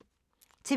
TV 2